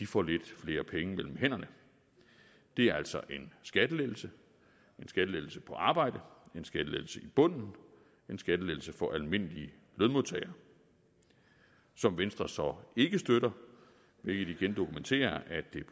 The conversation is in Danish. får lidt flere penge mellem hænderne det er altså en skattelettelse en skattelettelse på arbejde en skattelettelse i bunden en skattelettelse for almindelige lønmodtagere som venstre så ikke støtter hvilket igen dokumenterer at det